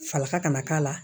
Falaka kana k'a la